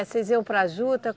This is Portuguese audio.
Vocês iam para a juta?